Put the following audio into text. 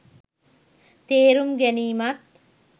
තේරුම් ගැනීමත්